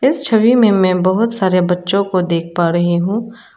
इस छवि में मैं बहुत सारे बच्चों को देख पा रही हूं।